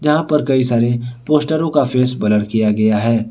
यहां पर कई सारे पोस्टरों का फेस ब्लर किया गया है।